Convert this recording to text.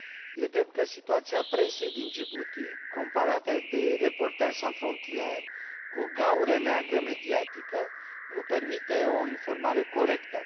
E drept că situația presei din Djibouti, comparată de Reporters sans frontières cu o gaură neagră mediatică, nu permite o informare corectă.